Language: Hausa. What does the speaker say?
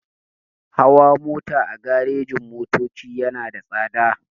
Hawa mota a garejin-motoci yana da tsada.